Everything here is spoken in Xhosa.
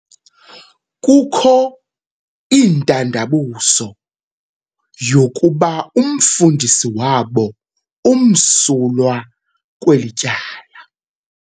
Kukho itandabuzo yokuba umfundisi wabo umsulwa kweli tyala.